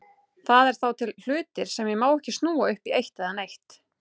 Það eru þá til hlutir sem ég má ekki snúa upp í eitt eða neitt.